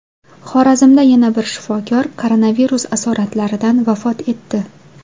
Xorazmda yana bir shifokor koronavirus asoratlaridan vafot etdi.